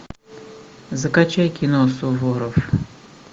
закачай кино суворов